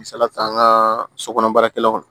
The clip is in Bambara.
Misalila an ka sokɔnɔ baarakɛlaw